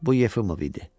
Bu Yefimov idi.